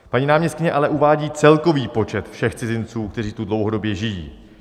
Paní náměstkyně ale uvádí celkový počet všech cizinců, kteří tu dlouhodobě žijí.